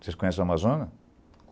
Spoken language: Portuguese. Vocês conhecem o Amazonas?